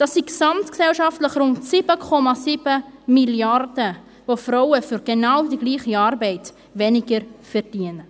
Das sind gesamtgesellschaftlich rund 7,7 Mrd. Franken, die Frauen für die genau gleiche Arbeit weniger verdienen.